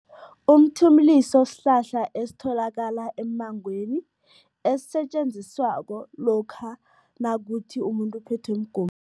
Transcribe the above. Umthimuliso sihlahla esitholakala emmangweni, esisetjenziswako lokha nakuthi umuntu uphethwe